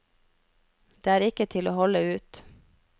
Det er ikke til å holde ut.